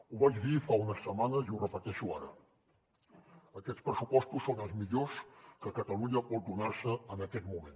ho vaig dir fa unes setmanes i ho repeteixo ara aquests pressupostos són els millors que catalunya pot donar se en aquest moment